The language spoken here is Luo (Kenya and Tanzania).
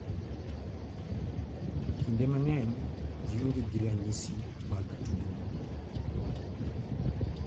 Kinde mang'eny gionge gi ranyisi mag tuono .